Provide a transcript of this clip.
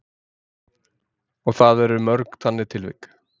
Og það eru mörg þannig tilvik?